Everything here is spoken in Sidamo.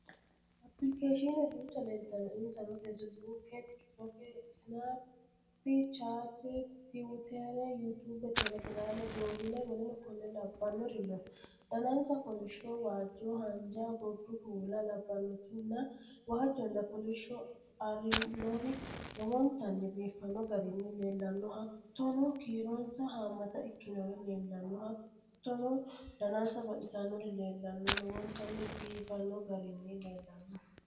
Applikeeshiine duucha leeltanno: insano Feesibuuke, tikitoke, isinappi chaate, tiwutere, yuutuube, Teelegraame, Google,W.K.L no: Danansa kolishsho, waajjo, haanja, gordu kuula labbannoti nna waajjonna kolishsho ari'nori lowontanni biifanno garinni leellanno Hattonokiironsa haammata ikkinori leellanno Hattono danansa baxisannori leellanno lowontanni biifanno garinni leellanno.